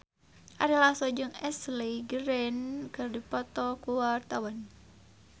Ari Lasso jeung Ashley Greene keur dipoto ku wartawan